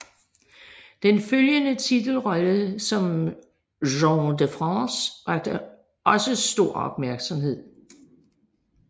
Den følgende titelrolle som Jean de France vakte også stor opmærksomhed